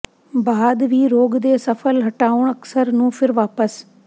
ਬਾਅਦ ਵੀ ਰੋਗ ਦੇ ਸਫਲ ਹਟਾਉਣ ਅਕਸਰ ਨੂੰ ਫਿਰ ਵਾਪਸ